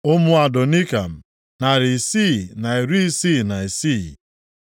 Ụmụ Adonikam, narị isii na iri isii na isii (666).